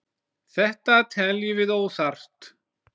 Þetta teljum við óþarft.